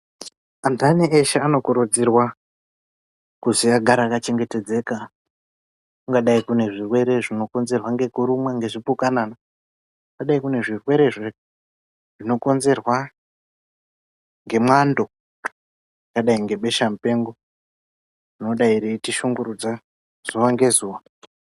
Antani eshe anokurudzirwa kuzi agare akachengetedzeka kungadai kune zvirwere zvinokonzerwa ngekurumwa ngezvipukanana ungadai kune zvirwere zvinokonzerwa ngemwando zvakadai ngebesha mupengo rinodai reitishungurudza zuwa ngezuwa.